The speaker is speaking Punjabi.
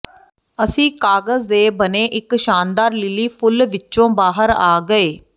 ਅਸੀਂ ਕਾਗਜ਼ ਦੇ ਬਣੇ ਇਕ ਸ਼ਾਨਦਾਰ ਲਿਲੀ ਫੁੱਲ ਵਿਚੋਂ ਬਾਹਰ ਆ ਗਏ